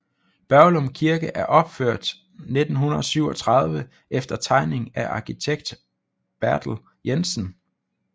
Børglum Kirke er opført 1937 efter tegning af arkitekt Bertel Jensen